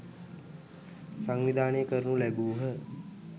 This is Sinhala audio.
සංවිධානය කරනු ලැබූහ.